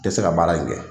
Tɛ se ka baara in kɛ